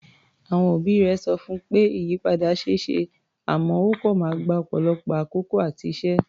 Àwọn òbí rẹ̀ sọ fún pé ìyípadà ṣe é ṣe àmọ́ ó kọ̀ máa gba ọ̀pọ̀lọpọ̀ àkókò àti iṣẹ́.